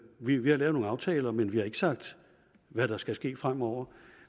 vi vi har lavet nogle aftaler men vi har ikke sagt hvad der skal ske fremover